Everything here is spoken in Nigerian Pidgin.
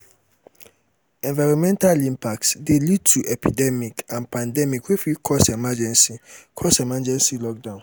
enironmental impacts de lead to epidemic and pandemics wey fit cause emergency cause emergency lockdown